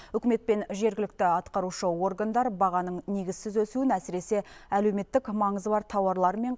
үкімет пен жергілікті атқарушы органдар бағаның негізсіз өсуін әсіресе әлеуметтік маңызы бар тауарлар мен